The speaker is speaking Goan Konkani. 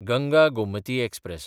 गंगा गोमती एक्सप्रॅस